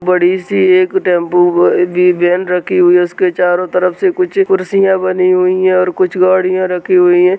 बड़ी सी एक टेम्पो व ब वेन रखी हुई है उसके चारो तरफ से कुछ खुर्चिया बनी हुई है और कुछ गाड़िया रखी हुई है।